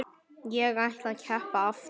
Ég ætla að keppa aftur.